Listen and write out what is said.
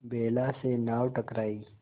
बेला से नाव टकराई